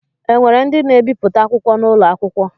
E nwere ndi na-ebipụta akwụkwọ n’ụlọ akwụkwọ?